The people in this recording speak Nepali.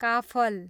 काफल